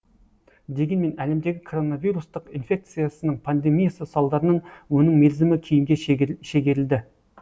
дегенмен әлемдегі коронавирустық инфекциясының пандемиясы салдарынан оның мерзімі кейінге шегерілді